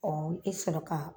e sɔrɔ ka